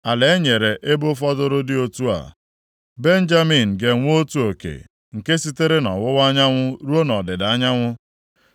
“Ala e nyere ebo fọdụrụ dị otu a: “Benjamin ga-enwe otu oke, nke sitere nʼọwụwa anyanwụ ruo nʼọdịda anyanwụ.